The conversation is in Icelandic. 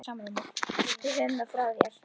Við höfum það frá þér!